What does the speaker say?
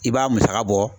I b'a musaka bɔ